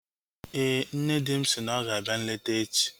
Éè, nne di m si na ọ ga-abịa nleta echi